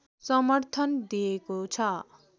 समर्थन दिएको छ